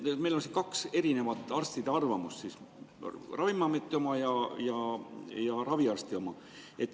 Meil on siin kaks erinevat arstide arvamust, Ravimiameti oma ja raviarsti oma.